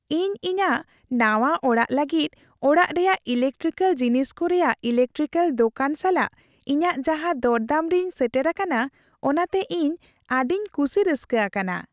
ᱤᱧ ᱤᱧᱟᱹᱜ ᱱᱟᱶᱟ ᱚᱲᱟᱜ ᱞᱟᱹᱜᱤᱫ ᱚᱲᱟᱜ ᱨᱮᱭᱟᱜ ᱤᱞᱮᱠᱴᱤᱠᱮᱹᱞ ᱡᱤᱱᱤᱥ ᱠᱚ ᱨᱮᱭᱟᱜ ᱤᱞᱮᱠᱴᱨᱤᱠᱮᱹᱞ ᱫᱳᱠᱟᱱ ᱥᱟᱞᱟᱜ ᱤᱧᱟᱹᱜ ᱡᱟᱦᱟᱸ ᱫᱚᱨᱫᱟᱢ ᱨᱤᱧ ᱥᱮᱴᱮᱨ ᱟᱠᱟᱱᱟ, ᱚᱱᱟ ᱛᱮ ᱤᱧ ᱟᱹᱰᱤᱧ ᱠᱩᱥᱤ ᱨᱟᱹᱥᱠᱟᱹ ᱟᱠᱟᱱᱟ ᱾